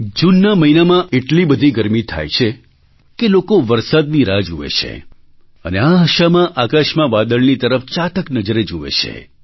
જૂનના મહિનામાં એટલી બધી ગરમી થાય છે કે લોકો વરસાદની રાહ જુએ છે અને આ આશામાં આકાશમાં વાદળની તરફ ચાતક નજરે જુએ છે